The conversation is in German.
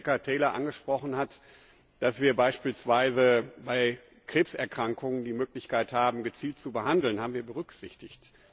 Was Rebecca Taylor angesprochen hat, dass wir beispielsweise bei Krebserkrankungen die Möglichkeit haben, gezielt zu behandeln, haben wir berücksichtigt.